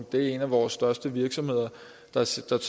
det er en af vores største virksomheder der simpelt